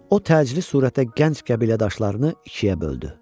O təcili surətdə gənc qəbilədaşlarını ikiyə böldü.